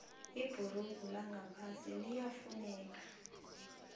ibhurugu langaphasi liyafuneka